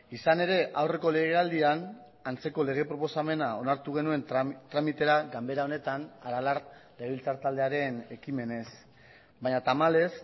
izan ere aurreko legealdian antzeko lege proposamena onartu genuen tramitera ganbera honetan aralar legebiltzar taldearen ekimenez baina tamalez